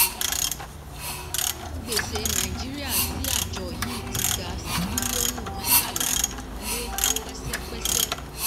gbèsè nàìjíríà sí àjọ yìí ti ga sí bílíọ̀nù mẹ́tàlá lé pẹ́sẹ́pẹ́sẹ́.